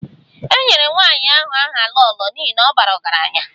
E nyere nwanyị ahụ aha 'Lolo' n'ihi na ọ bara ọgaranya